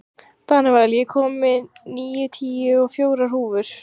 Danival, ég kom með níutíu og fjórar húfur!